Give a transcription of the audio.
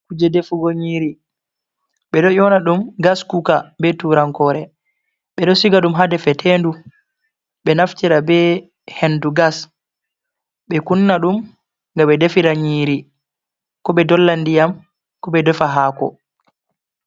kuje defugonyiri, ɓe do yona dum gas kuka be turankore. De do siga dum hadefetendu, ɓe naftira be hendugas, ɓe kunna dum ga ɓe defira nyiri ,ko ɓe dolla ndiyam, ko ɓe defa haako.